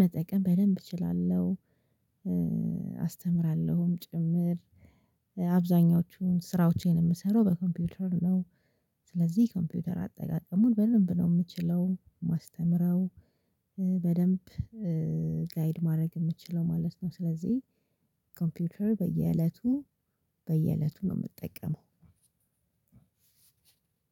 መጠቀም በደንብ እችላለሁ። አስተምራለሁም ጭምር አብዛኛዎቹን ስራዎቼን እምሰራው በኮምፒውተር ነው። ስለዚህ ኮምፒውተር አጠቃቀሙን በደንብ ነው ምችለው ማስተምረው። በደንብ ጋይድ ማረግ እምችለው ማለት ነው። ስለዚህ ኮምፒውተር በየእለቱ በየእለቱ ነው ምጠቀመው።